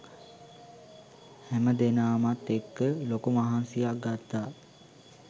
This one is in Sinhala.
හැම දෙනාමත් එක්ක ලොකු මහන්සියක් ගත්තා